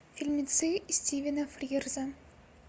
фильмецы стивена фрирза